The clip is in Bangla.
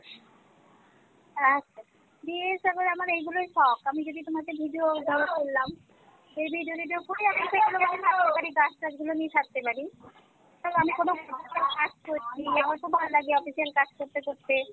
আচ্ছা বিশেষ করে আমার এইগুলোই শখ আমি যদি তোমাকে video ধর করলাম এই নিয়ে যদি দুপুরে গাছ টাছ গুলো নিয়ে থাকতে পারি তো আমি কোন কাজ করছি আমার খুব ভাল লাগে official কাজ করতে করতে